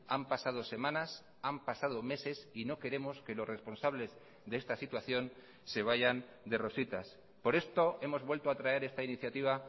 han pasado semanas han pasado meses y no queremos que los responsables de esta situación se vayan de rositas por esto hemos vuelto a traer esta iniciativa